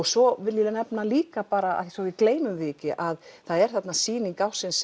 svo viljum við nefna líka bara svo við gleymum því ekki að það er þarna sýning ársins